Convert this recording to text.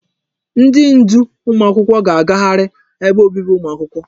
Ndi ndu ụmụ akwụkwọ ga agagharị ebe obibi ụmụ akwụkwọ.